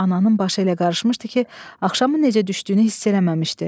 Ananın başı elə qarışmışdı ki, axşamın necə düşdüyünü hiss eləməmişdi.